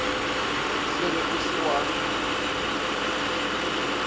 se re o se wa